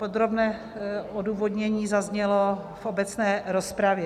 Podrobné odůvodnění zaznělo v obecné rozpravě.